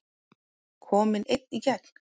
Kominn einn í gegn?